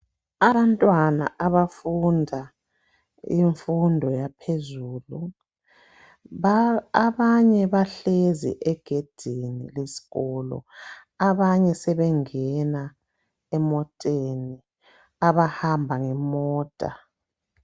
Abantwana abafunda ifundo yaphezulu, abanye bahlezi egedini lesikolo abanye sebengena emoteni abahamba ngemota.